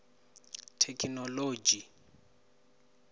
thekinoḽodzhi